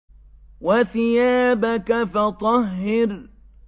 وَثِيَابَكَ فَطَهِّرْ